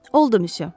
Oldu misya.